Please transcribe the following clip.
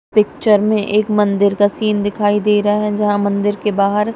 picture में एक मंदिर का सीन दिखाई दे रहा है जहां मंदिर के बाहर--